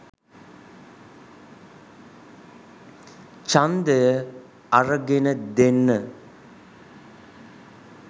ඡන්දය අරගෙන දෙන්න